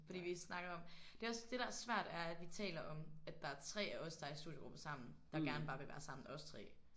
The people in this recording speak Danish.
Fordi vi snakker om det er også det der er svært er at vi taler om at der er 3 af os der er i studiegruppe sammen der gerne bare vil være sammen os 3